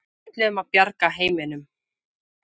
Við ætluðum að bjarga heiminum.